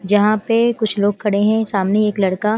जहां पे कुछ लोग खड़े हैं सामने एक लड़का।